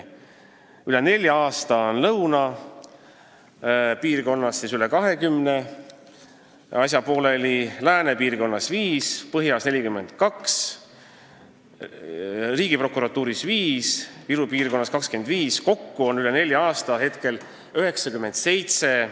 Lõunapiirkonnas on üle nelja aasta olnud menetluses 20 asja, läänepiirkonnas 5, põhjapiirkonnas 42, Riigiprokuratuuris 5 ja Viru piirkonnas 25 asja – hetkel on selliseid juhtumeid kokku 97.